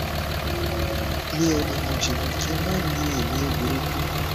mi ò lè rìn jìnnà kí n má ní èémí burúkú